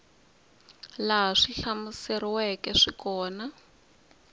laha swi hlamuseriweke hi kona